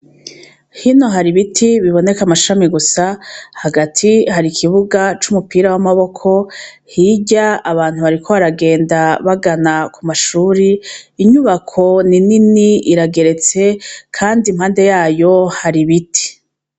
Hino hari ibiti biboneka amashami gusa, hagati hari ikibuga c'umupira w'amaboko, hirya abantu bariko baragenda bagana kumashure, inyubako ni nini , irageretse ,kandi impande yayo har'ibiti.